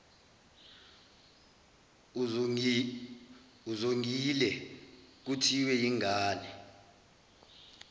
uzongile kuthiwe yingane